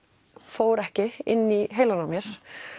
fór ekki inn í heilann á mér